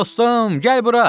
Dostum, gəl bura.